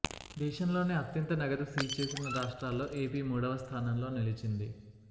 దేశంలోనే అత్యంత నగదు సీజ్ చేసిన రాష్ట్రాల్లో ఏపీ మూడవ స్థానంలో నిలిచింది